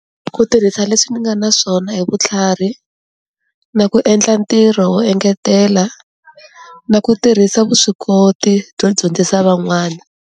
Ku tirhisa leswi ni nga na swona hi vutlhari, na ku endla ntirho wo engetela, na ku tirhisa vuswikoti byo dyondzisa van'wana.